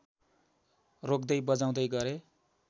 रोक्दै बजाउदै गरे